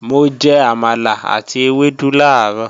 Mo jẹ àmàlà àti ewédú làárọ̀